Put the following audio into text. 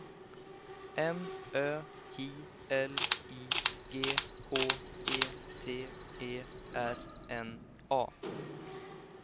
M Ö J L I G H E T E R N A